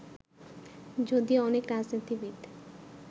যদিও অনেক রাজনীতিবিদ